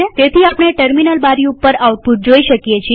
તેથી આપણે ટર્મિનલ બારી ઉપર આઉટપુટ જોઈ શકીએ છીએ